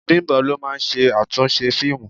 Bimbo ló máa ń ṣe àtúnṣe fíìmù.